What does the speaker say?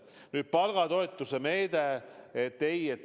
Nüüd, palgatoetuse meede.